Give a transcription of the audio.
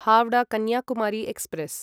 Howrah Kanyakumari express